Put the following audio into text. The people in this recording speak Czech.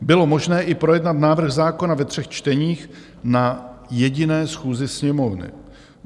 Bylo možné i projednat návrh zákona ve třech čteních na jediné schůzi Sněmovny.